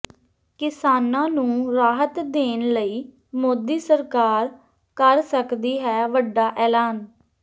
ਕਿਸਾਨਾਂ ਨੂੰ ਰਾਹਤ ਦੇਣ ਲਈ ਮੋਦੀ ਸਰਕਾਰ ਕਰ ਸਕਦੀ ਹੈ ਵੱਡਾ ਐਲਾਨ